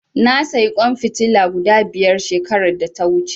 Na sayi ƙwan fitila guda biyar shekarar da ta wuce.